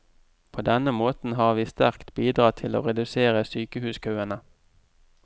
På denne måten har vi sterkt bidratt til å redusere sykehuskøene.